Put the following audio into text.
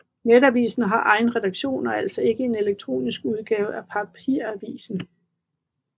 Netavisen har egen redaktion og er altså ikke en elektronisk udgave af papiravisen